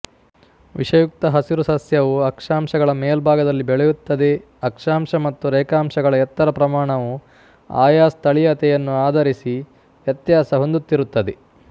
ವಿಷಯುಕ್ತ ಹಸಿರು ಸಸ್ಯವು ಅಕ್ಷಾಂಶಗಳ ಮೇಲ್ಭಾಗದಲ್ಲಿ ಬೆಳೆಯುತ್ತದೆಅಕ್ಷಾಂಶ ಮತ್ತು ರೇಖಾಂಶಗಳ ಎತ್ತರ ಪ್ರಮಾಣವು ಆಯಾ ಸ್ಥಳೀಯತೆಯನ್ನು ಆಧರಿಸಿ ವ್ಯತ್ಯಾಸ ಹೊಂದುತ್ತಿರುತ್ತದೆ